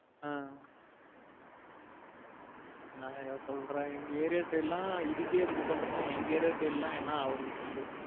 ஆஹ் நா ஏதோ சொல்ற எங்க area side லாம் இதுக்கே இப்டி சொல்றான எங்க area side லாம் என்ன ஆவுறது சொல்லு?